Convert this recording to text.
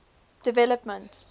development